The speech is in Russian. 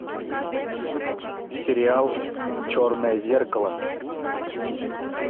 сериал черное зеркало